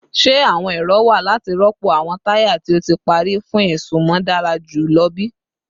Ṣe awọn ero wa lati rọpo awọn taya ti o ti pari fun isunmọ dara julọ bi?